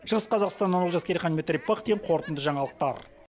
шығыс қазақстан олжас керейхан дмитрий пыхтин қорытынды жаңалықтар